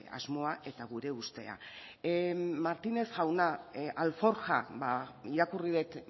asmoa eta gure ustea martínez jauna alforja irakurri dut